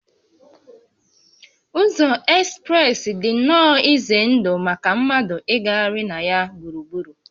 Ụzọ ekspreesị dị nnọọ ize ndụ maka mmadụ ịgagharị na ya gburugburu